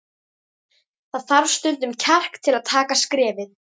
Það þarf stundum kjark til að taka skrefið.